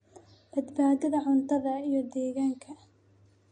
badbaadada cuntada, iyo deegaanka.